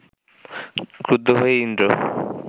ক্রুদ্ধ হয়ে ইন্দ্র